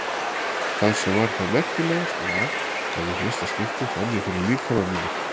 Það sem var þó merkilegast var að í fyrsta skipti fann ég fyrir líkama mínum.